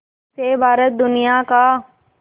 से भारत दुनिया का